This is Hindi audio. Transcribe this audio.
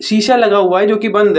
शीशा लगा हुआ है जो कि बंद है।